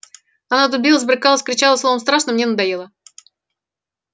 она тут билась брыкалась кричала словом страшно мне надоела